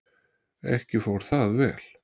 Ekki fór það vel.